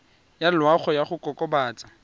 ya loago ya go kokobatsa